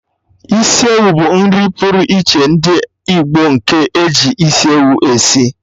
Isiewu bụ nri pụrụ iche ndị Igbo, nke eji isi ewu esi